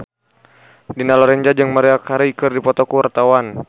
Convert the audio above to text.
Dina Lorenza jeung Maria Carey keur dipoto ku wartawan